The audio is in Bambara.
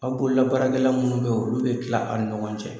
Aw bololabaarakɛla minnu bɛ yen olu bɛ tila a' ni ɲɔgɔn cɛ.